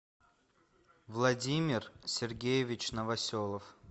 владимир сергеевич новоселов